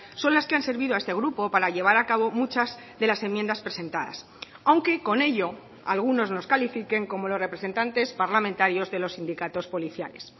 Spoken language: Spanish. son las que han servido a este grupo para llevar a cabo muchas de las enmiendas presentadas aunque con ello algunos nos califiquen como los representantes parlamentarios de los sindicatos policiales